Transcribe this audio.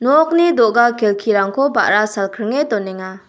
nokni do·ga kelkirangko ba·ra salkringe donenga.